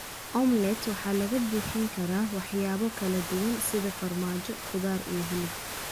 Omelette waxaa lagu buuxin karaa waxyaabo kala duwan, sida farmaajo, khudaar iyo hilib.